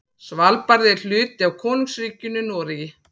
Svalbarði er hluti af Konungsríkinu Noregi.